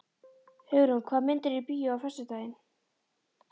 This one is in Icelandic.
Hugrún, hvaða myndir eru í bíó á föstudaginn?